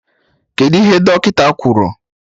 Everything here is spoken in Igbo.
Kedụ ihe Dọkịta kwuru?